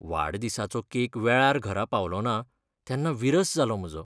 वाडदिसाचो cake वेळार घरा पावलोना तेन्ना विरस जालो म्हजो.